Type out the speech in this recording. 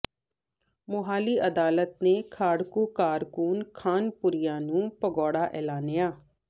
ਮੁਹਾਲੀ ਅਦਾਲਤ ਨੇ ਖਾੜਕੂ ਕਾਰਕੁਨ ਖਾਨਪੁਰੀਆ ਨੂੰ ਭਗੌੜਾ ਐਲਾਨਿਆ